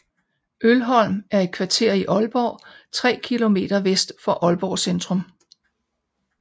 Mølholm er et kvarter i Aalborg tre kilometer vest for Aalborg Centrum